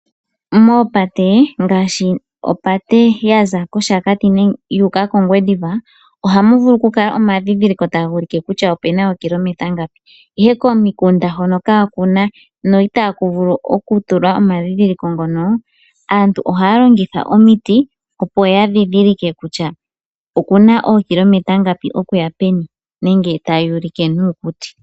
Moopate ngashi opate yaza koshakati yu uka kongwediva ohamuvulu okukala omadhidhiliko taga ulike kutya opena ookilometa ngapi, ihe komikunda kaakuna no itaku vulu okutulwa omandhindhiliko ngono aantu aantu ohaya longitha omiti opo ya ndhindhilike kutya okuna ookilometa ngapi okuya peni taya ulike nuukuti.